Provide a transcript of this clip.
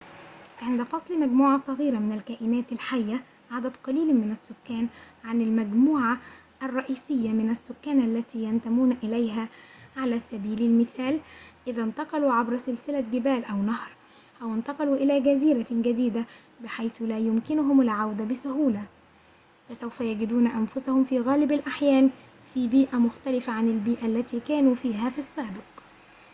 عند فصل مجموعة صغيرة من الكائنات الحية عدد قليل من السكان عن المجموعة الرئيسية من السكان التي ينتمون إليها على سبيل المثال إذا انتقلوا عبر سلسلة جبال أو نهر، أو انتقلوا إلى جزيرة جديدة بحيث لا يمكنهم العودة بسهولة، فسوف يجدون أنفسهم، في غالب الأحيان، في بيئة مختلفة عن البيئة التي كانوا فيها في السابق